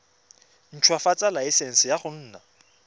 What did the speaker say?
ntshwafatsa laesense ya go nna